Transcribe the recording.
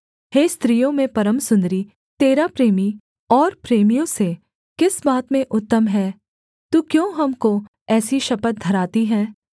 हे स्त्रियों में परम सुन्दरी तेरा प्रेमी और प्रेमियों से किस बात में उत्तम है तू क्यों हमको ऐसी शपथ धराती है